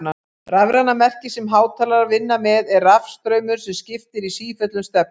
Rafræna merkið sem hátalarar vinna með er rafstraumur sem skiptir í sífellu um stefnu.